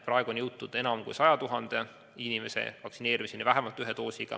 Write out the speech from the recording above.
Praegu on enam kui 100 000 inimest vaktsineeritud vähemalt ühe doosiga.